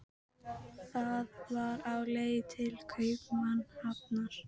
Það var á leið til Kaupmannahafnar.